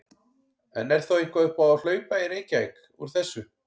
En er þá eitthvað upp á að hlaupa í Reykjavík úr þessu?